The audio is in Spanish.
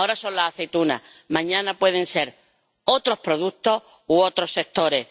Ahora son las aceitunas, mañana pueden ser otros productos u otros sectores.